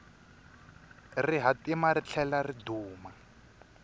rihatima ri tlhela ri duma